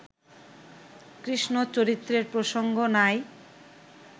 কৃষ্ণচরিত্রের প্রসঙ্গ নাই